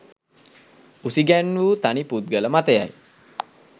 උසිගැන්වූ තනි පුද්ගල මතයයි.